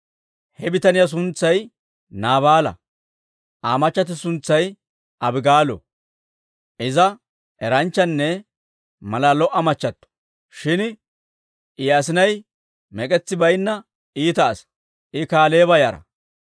He bitaniyaa suntsay Naabaala; Aa machchatti suntsay Abigaalo. Iza eranchchanne malaa lo"a machchattio; shin I asinay mek'etsi baynna iita asaa. I Kaaleeba yara.